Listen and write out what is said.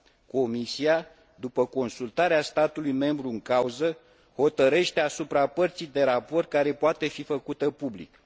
Comisia, după consultarea statului membru în cauză, hotărăște asupra părții de raport care poate fi făcută publică.